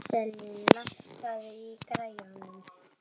Íselín, lækkaðu í græjunum.